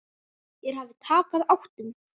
Þeir hafi tapað áttum.